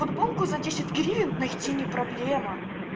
футболку за десять гривен найти не проблема